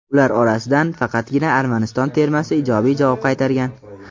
Ular orasidan faqatgina Armaniston termasi ijobiy javob qaytargan.